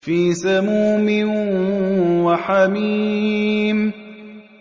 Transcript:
فِي سَمُومٍ وَحَمِيمٍ